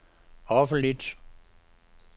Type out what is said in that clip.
offentlig